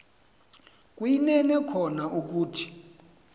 kuyinene kona ukuthi